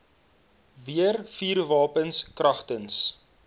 weer vuurwapens kragtens